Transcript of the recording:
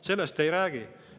Sellest te ei räägi.